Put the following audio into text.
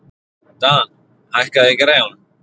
Dan, hækkaðu í græjunum.